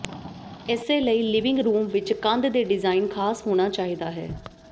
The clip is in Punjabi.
ਇਸੇ ਲਈ ਲਿਵਿੰਗ ਰੂਮ ਵਿੱਚ ਕੰਧ ਦੇ ਡਿਜ਼ਾਇਨ ਖਾਸ ਹੋਣਾ ਚਾਹੀਦਾ ਹੈ